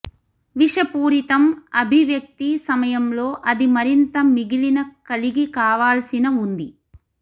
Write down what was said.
విషపూరితం అభివ్యక్తి సమయంలో అది మరింత మిగిలిన కలిగి కావాల్సిన ఉంది